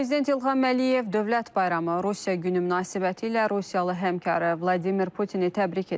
Prezident İlham Əliyev Dövlət Bayramı Rusiya Günü münasibətilə Rusiyalı həmkarı Vladimir Putini təbrik edib.